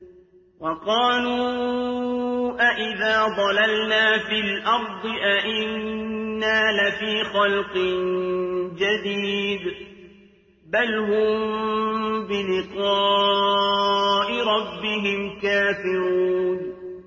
وَقَالُوا أَإِذَا ضَلَلْنَا فِي الْأَرْضِ أَإِنَّا لَفِي خَلْقٍ جَدِيدٍ ۚ بَلْ هُم بِلِقَاءِ رَبِّهِمْ كَافِرُونَ